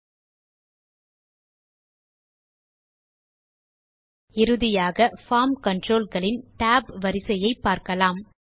ல்ட்பாசெக்ட் இறுதியாக form control களின் tab வரிசையை பார்க்கலாம்